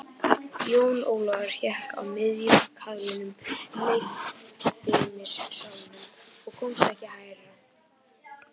Jón Ólafur hékk í miðjum kaðlinum í leikfimissalnum og komst ekki hærra.